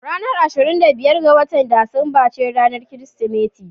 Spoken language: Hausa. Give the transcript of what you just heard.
Ranar ashirin da biyar ga watan Disamba ce Ranar Kirsimeti.